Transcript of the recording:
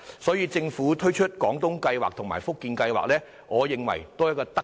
所以，政府推出"廣東計劃"和"福建計劃"，我認為也是一項德政。